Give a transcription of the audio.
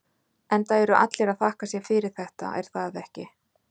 Enda eru allir að þakka sér fyrir þetta, er það ekki?